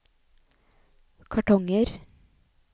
kartonger